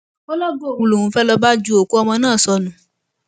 ó lọgàá òun lòún fẹẹ lóo bá ju òkú ọmọ náà sọnù